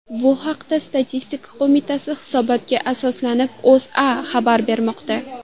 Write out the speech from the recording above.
Bu haqda statistika qo‘mitasi hisobotiga asoslanib, O‘zA xabar bermoqda .